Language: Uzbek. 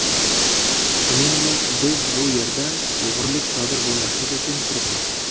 Shuningdek, biz bu yerda o‘g‘rilik sodir bo‘lmasligi uchun turibmiz.